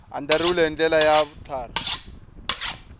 andlariwile hi ndlela ya vutlhari